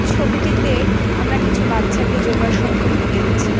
ছবিটিতে আমরা কিছু বাচ্চাকে যোগাসন করতে দেখছি।